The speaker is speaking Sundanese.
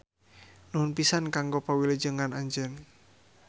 Nuhun pisan kanggo pawilujengan anjeun.